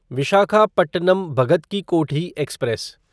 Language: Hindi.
विशाखापट्टनम भगत की कोठी एक्सप्रेस